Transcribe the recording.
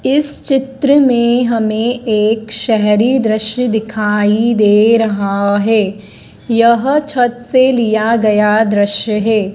इस चित्र में हमें एक शहरी दृश्य दिखाई दे रहा है। यह छत से लिया गया दृश्य है।